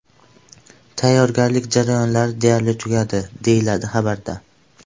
Tayyorgarlik jarayonlari deyarli tugadi, deyiladi xabarda.